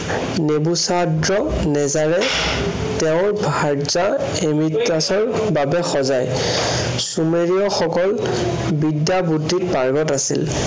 নিমুচাদ্ৰ নেজাৰে তেওঁৰ ভাৰ্যা এমিডকাচৰ বাবে সজায়। চুমেৰিয়সকল বিদ্য়া বুদ্ধিত পাগ্ৰত আছিল।